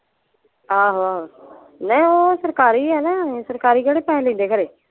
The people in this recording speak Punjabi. ਆਹੋ ਆਹੋ ਨਹੀਂ ਓਹ ਸਰਕਾਰੀ ਆ ਨਾ ਸਰਕਾਰੀ ਕਿਹੜੇ ਪੈਸੇ ਲੈਂਦੇ ਖਰੇ?